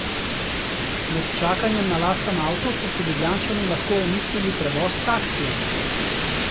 Med čakanjem na lasten avto so si Ljubljančani lahko omislili prevoz s taksijem.